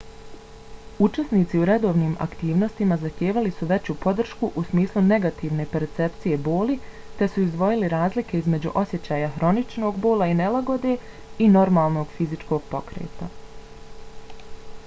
učesnici u redovnim aktivnostima zahtijevali su veću podršku u smislu negativne percepcije boli te su izdvojili razlike između osjećaja hroničnog bola i nelagode i normalnog fizičkog pokreta